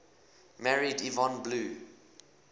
married yvonne blue